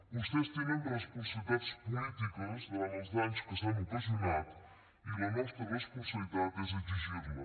vostès tenen responsabilitats polítiques davant els danys que s’han ocasionat i la nostra responsabilitat és exigir les